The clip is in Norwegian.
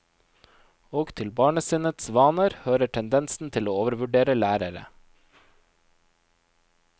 Og til barnesinnets vaner hører tendensen til å overvurdere lærere.